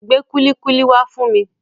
Gbé kúlíkúlí wá fún mi.